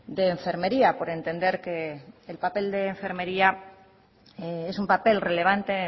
de enfermería por entender que el papel de enfermería es un papel relevante